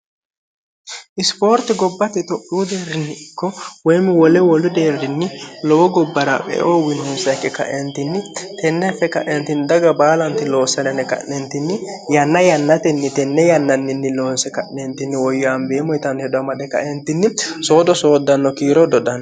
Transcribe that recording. isipoorti gobbate to'uu deerrinni ikko woyimi wole wolu deerrinni lowo gobbara meoo winnsaqe kaeentinni tenne affe ka'eentinni daga baalanti loossalene qa'neentinni yanna yannatenni tenne yannanninni loonse ka'neentinni woyyi ambeemmo yitanni hedo amade kaentinni soodo sooddanno kiiro dodanno